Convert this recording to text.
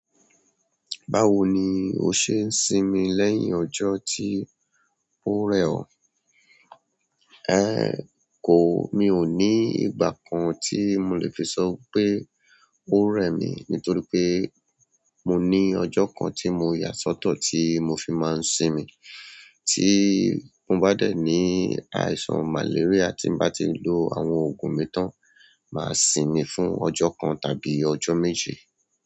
Báwo ni o ṣe ń simi lẹ́yìn ọjọ́ tí ó rẹ̀ ọ? Ẹ̀h ko, mi ò ní ìgbà kan tí mo lè fi sọ pé ó rẹ̀ mí nítorí pé mo ní ọjọ́ kan tí mo yà sọ́tọ̀ tí mo fi máa ń simi. Tí n bá dé ní àìsàn màléríà, tí n bá ti lo àwọn òògùn mi tán, máa simi fún ọjọ́ kan tàbí ọjọ́ méjì.